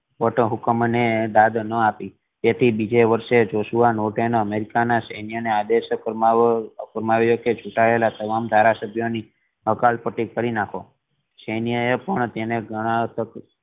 ખોટા હુકુમ ને દાદ ન આપી જેથી બીજે વર્ષે જોશુઆ નોર્ટન એ અમેરિકા ના સૈયનોને આદેશ ફરમાવ્યો કે ઝૂટાયેલા તમામ ધારા સભ્ય ની હકાલ પટી કરી નાખો સેન્યએ પણ તેણે અર